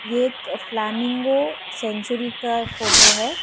ये एक flamingo sanctuary का फोटो है।